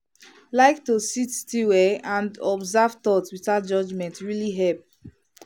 like to sit still[um]and observe thoughts without judgment really help.